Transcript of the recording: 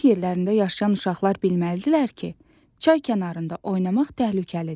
Kənd yerlərində yaşayan uşaqlar bilməlidirlər ki, çay kənarında oynamaq təhlükəlidir.